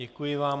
Děkuji vám.